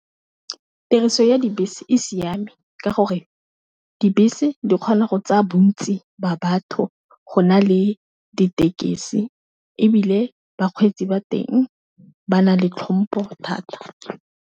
Tiriso ya dibese e siame ka gore dibese di kgona go tsaya bontsi ba batho go na le ditekesi, e bile bakgweetsi ba teng ba na le tlhompo thata.